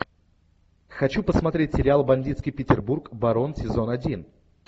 хочу посмотреть сериал бандитский петербург барон сезон один